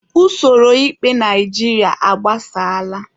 Usoro ikpe Naijiria agbasaala.